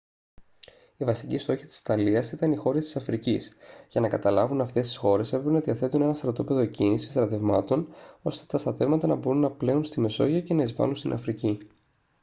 οι βασικοί στόχοι της ιταλίας ήταν οι χώρες της αφρικής για να καταλάβουν αυτές τις χώρες έπρεπε να διαθέτουν ένα στρατόπεδο εκκίνησης στρατευμάτων ώστε τα στρατεύματα να μπορούν να πλέουν στη μεσόγειο και να εισβάλουν στην αφρική